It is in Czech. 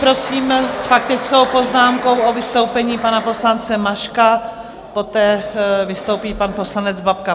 Prosím s faktickou poznámkou o vystoupení pana poslance Maška, poté vystoupí pan poslanec Babka.